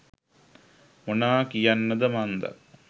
මොනා කියන්නද මන්ද